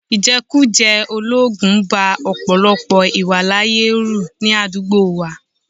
Ìjẹkújẹ̀ẹ́ olóògùn ba ọ̀pọ̀lọpọ̀ ìwàláàyè ru ní àdúgbò wa